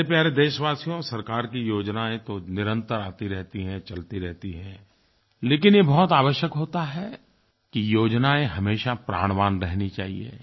मेरे प्यारे देशवासियो सरकार की योजनायें तो निरंतर आती रहती हैं चलती रहती हैं लेकिन ये बहुत आवश्यक होता है कि योजनायें हमेशा प्राणवान रहनी चाहियें